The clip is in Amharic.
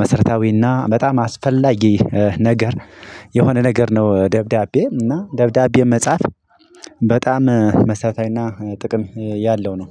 መሰረታዊና በጣም አስፈላጊ ነገር የሆነ ነገር ነው። ደብዳቤ እና ደብዳቤ መጻፍ በጣም መሰረታዊና እና ጥቅም ያለው ነው።